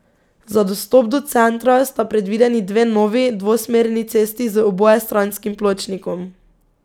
Za dostop do centra sta predvideni dve novi, dvosmerni cesti z obojestranskim pločnikom.